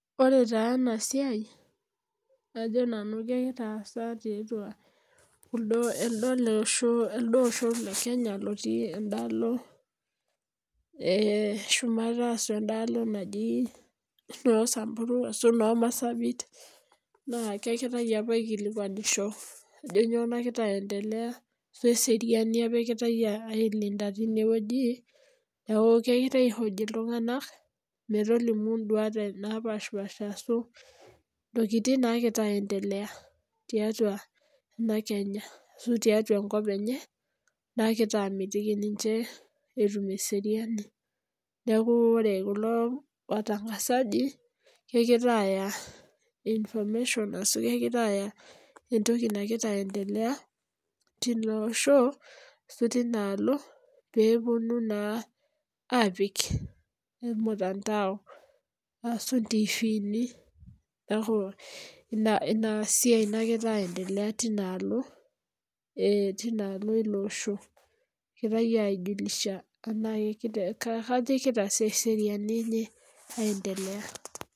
Ore taa ena siai kajo nanu ketasaki ti atua eldo Osho le kenya otii eda alo eh shumata ashu eda alo naaji naa samburu noo marsabit naa kengirae apa aikilikuanisho ajo nyoo nagira aietelea te seriani apa egirae ailida tine wueji. Neaku kegirae aihoji iltung'anak metolimu induat napashipasha ashu, intokitin nagira aiendelea tiatua ena Kenya ashu tiatua enkop enye nagira amitiki ninche etum eseriani. Neaku ore kulo watangasaji kegira aya information ashu kegira aya etoki nagira aietelea tilo Osho ashu tina Alo pee epunu naa apik ormutandao ashu itivini . Neaku ina siai nagira aietelea Tina alo eh Tina alo ilo Osho egirae aijulisha kaji egira eseriani enye aiendelea.